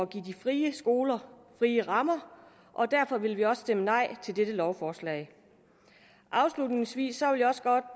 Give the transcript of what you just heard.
give de frie skoler frie rammer og derfor vil vi også stemme nej til dette lovforslag afslutningsvis